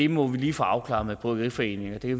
må vi lige få afklaret med bryggeriforeningen og det